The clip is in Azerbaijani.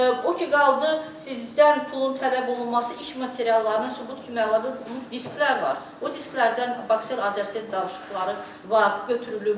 O ki qaldı sizdən pulun tələb olunması iş materiallarının sübut kimi əlavə olunub, bunu disklər var, o disklərdən bax sizin danışıqları var, götürülüb.